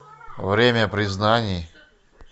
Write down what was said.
время признаний